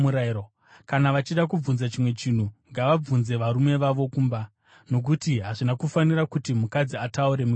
Kana vachida kubvunza chimwe chinhu, ngavabvunze varume vavo kumba; nokuti hazvina kufanira kuti mukadzi ataure mukereke.